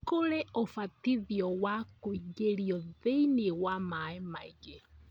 Kũrĩ ũbatithio wa kũingĩrio thĩiniĩ wa maĩ maingĩ.